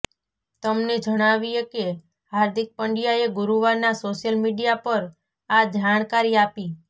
તમને જણાવીએ કે હાર્દિક પંડ્યાએ ગુરૂવારનાં સોશિયલ મીડિયા પર આ જાણકારી આપી